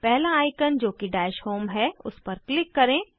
पहला आइकन जोकि dash home हैं उस पर क्लिक करें